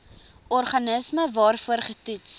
organisme waarvoor getoets